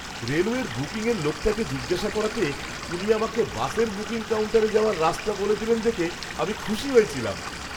রেলওয়ের বুকিংয়ের লোকটাকে জিজ্ঞাসা করাতে উনি আমাকে বাসের বুকিং কাউন্টারে যাওয়ার রাস্তা বলে দিলেন দেখে আমি খুশি হয়েছিলাম।